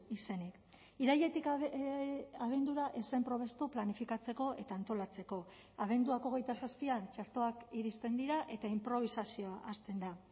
izenik irailetik abendura ez zen probestu planifikatzeko eta antolatzeko abenduak hogeita zazpian txertoak iristen dira eta inprobisazioa hasten da